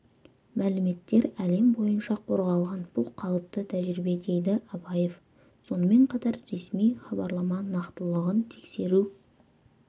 мәліметтер әлем бойынша қорғалған бұл қалыпты тәжірибе дейді абаев сонымен қатар ресми хабарлама нақтылығын тексеру